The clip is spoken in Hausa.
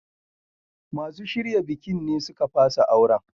Masu shirya bikin ne suka fasa auren.